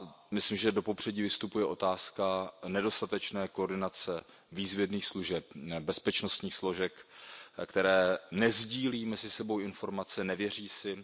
Myslím, že do popředí vystupuje otázka nedostatečné koordinace výzvědných služeb, bezpečnostních složek, které nesdílí mezi sebou informace, nevěří si.